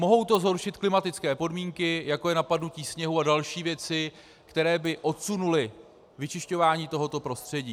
Mohou to zhoršit klimatické podmínky, jako je napadnutí sněhu a další věci, které by odsunuly vyčišťování tohoto prostředí.